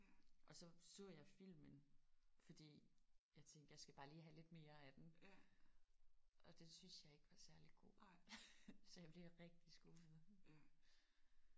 Og så så jeg filmen fordi jeg tænkte jeg skal bare lige have lidt mere af den og den syntes jeg ikke var særligt god. Så jeg blev rigtig skuffet